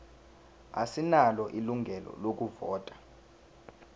asinalo ilungelo lokuvota